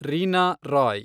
Reena Roy